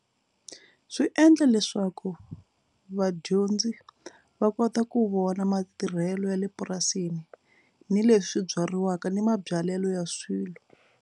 Swi endla leswaku vadyondzi va kota ku vona matirhelo ya le purasini ni leswi byariwaka ni mabyalelo ya swilo.